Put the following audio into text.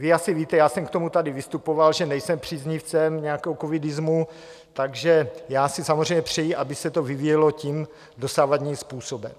Vy asi víte, já jsem k tomu tady vystupoval, že nejsem příznivcem nějakého covidismu, takže já si samozřejmě přeji, aby se to vyvíjelo tím dosavadním způsobem.